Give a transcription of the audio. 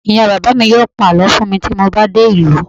ìyá bàbá mi yíò pa àlọ fún mi ti mo ba dé ìlú